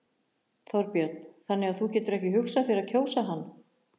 Þorbjörn: Þannig að þú getur ekki hugsað þér að kjósa hann?